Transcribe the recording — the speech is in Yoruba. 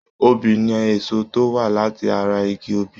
Obi ni èso tó wá láti ara igi obì.